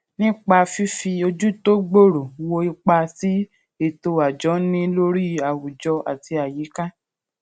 nípa fífi ojú tó gbòòrò wo ipa tí ètò àjọ ń ní lórí àwùjọ àti àyíká